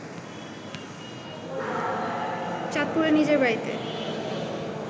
চাঁদপুরে নিজের বাড়িতে